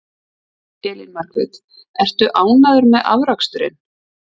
Elín Margrét: Ertu ánægður með afraksturinn?